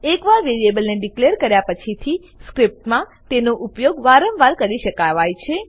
એકવાર વેરીએબલને ડીકલેર કર્યા પછી થી સ્ક્રીપ્ટમાં તેનો ઉપયોગ વારમ વાર કરી શકાય છે